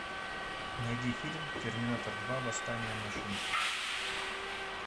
найди фильм терминатор два восстание машин